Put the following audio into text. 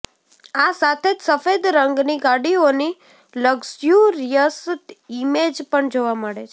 આ સાથે જ સફેદ રંગની ગાડીઓની લક્ઝુરિયસ ઈમેજ પણ જોવા મળે છે